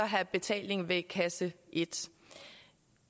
have betaling ved kasse et